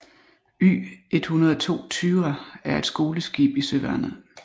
Y102 Thyra er et skoleskib i Søværnet